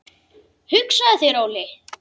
Hugsaðu þér Óli!